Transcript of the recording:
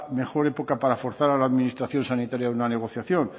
mejor época para forzar a la administración sanitaria una negociación